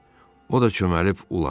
O da çöməlib uladı.